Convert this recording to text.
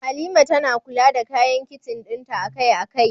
Halima tana kula da kayan kicin dinta akai-akai.